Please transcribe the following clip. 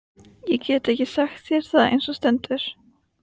Ég get ekki sagt þér það eins og stendur.